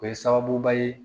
O ye sababuba ye